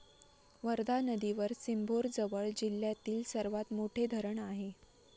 वर्धा नदीवर सिम्भोरजवळ जिल्ह्यातील सर्वात मोठे धरण आहे.